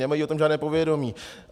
Nemají o tom žádné povědomí.